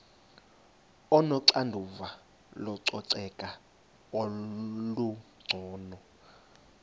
onoxanduva lococeko olungcono